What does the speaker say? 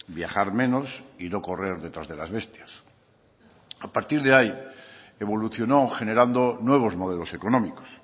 viajar menos y no correr detrás de las bestias a partir de ahí evolucionó generando nuevos modelos económicos